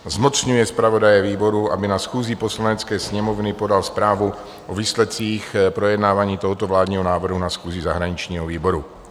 zmocňuje zpravodaje výboru, aby na schůzi Poslanecké sněmovny podal zprávu o výsledcích projednávání tohoto vládního návrhu na schůzi zahraničního výboru."